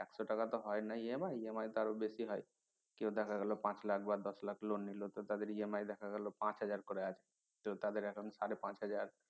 এত টাকা তো হয়না EMI~EMI তো আরো বেশি হয় দেখা গেল পাঁচ লাখ বা দশ লাখ loan নিল তো তাদের EMI দেখা গেলো পাঁচ হাজার করে আছে তাদের এখন সাড়ে পাঁচ হাজার